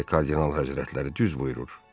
Bəli, Kardinal Həzrətləri düz buyurur.